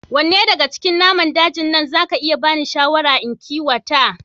Wanne daga cikin naman dajin nan za ka iya bani shawara in kiwata